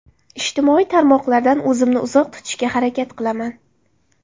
Ijtimoiy tarmoqladan o‘zimni uzoq tutishga harakat qilaman.